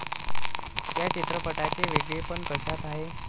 या चित्रपटाचे वेगळेपण कशात आहे?